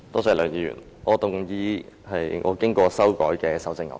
主席，我動議我經修改的修正案。